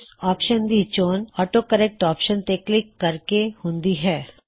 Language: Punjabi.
ਇਸ ਆਪਸ਼ਨ ਦੀ ਚੋਣ ਆਟੋ ਕਰੇਕ੍ਟ ਆਪਸ਼ਨ ਤੇ ਕਲਿੱਕ ਕਰਕੇ ਹੁੰਦੀ ਹੈ